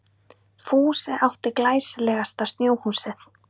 Fúsi átti glæsilegasta snjóhúsið.